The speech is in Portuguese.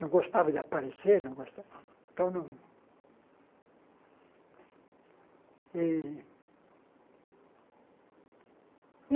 Não gostava de aparecer. Não gosta então não e e